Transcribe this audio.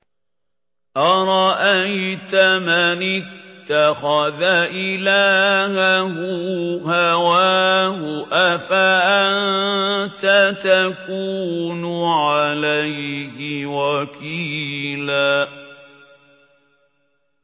أَرَأَيْتَ مَنِ اتَّخَذَ إِلَٰهَهُ هَوَاهُ أَفَأَنتَ تَكُونُ عَلَيْهِ وَكِيلًا